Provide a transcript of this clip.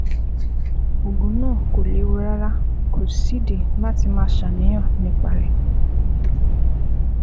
Oògùn náà kò léwu rárá; kò sídìí láti máa ṣàníyàn nípa rẹ̀